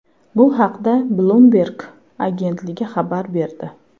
Bu haqda Bloomberg agentligi xabar berdi .